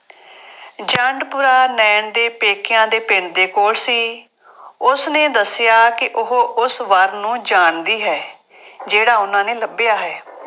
ਜੰਡਪੁਰਾ ਨਾਇਣ ਦੇ ਪੇਕਿਆਂ ਦੇ ਪਿੰਡ ਦੇ ਕੋਲ ਸੀ। ਉਸਨੇ ਦੱਸਿਆ ਕਿ ਉਹ ਉਸ ਵਰ ਨੂੰ ਜਾਣਦੀ ਹੈ। ਜਿਹੜਾ ਉਹਨਾ ਨੇ ਲੱਭਿਆ ਹੈ।